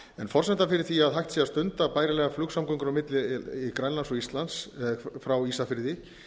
forsenda fyrir því að hægt sé að stunda bærilegar flugsamgöngur á milli grænlands og íslands frá ísafirði